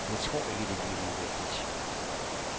Jeg tror ikke det bliver nødvendigt.